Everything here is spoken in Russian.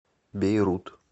бейрут